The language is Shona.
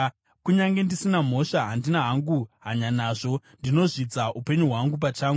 “Kunyange ndisina mhosva, handina hangu hanya nazvo; ndinozvidza upenyu hwangu pachangu.